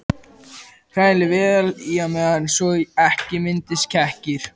Hrærið vel í á meðan svo ekki myndist kekkir.